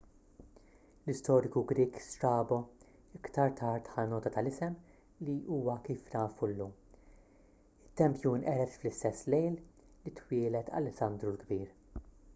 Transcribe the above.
l-istoriku grieg strabo iktar tard ħa nota tal-isem li huwa kif nafu llum it-tempju nqered fl-istess lejl li twieled alessandru l-kbir